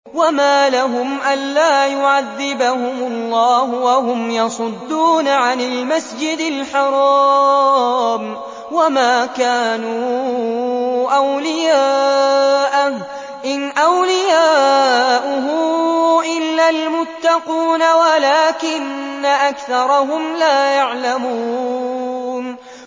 وَمَا لَهُمْ أَلَّا يُعَذِّبَهُمُ اللَّهُ وَهُمْ يَصُدُّونَ عَنِ الْمَسْجِدِ الْحَرَامِ وَمَا كَانُوا أَوْلِيَاءَهُ ۚ إِنْ أَوْلِيَاؤُهُ إِلَّا الْمُتَّقُونَ وَلَٰكِنَّ أَكْثَرَهُمْ لَا يَعْلَمُونَ